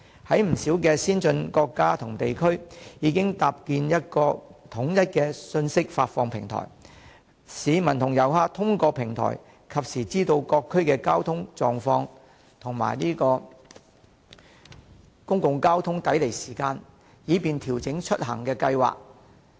不少先進國家及地區已經搭建一個統一的信息發布平台，市民和遊客通過平台實時知道各區的交通狀況及公共交通工具抵離時間，以便調整出行計劃。